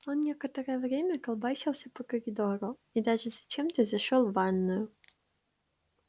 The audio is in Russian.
он некоторое время колбасился по коридору и даже зачем-то зашёл в ванную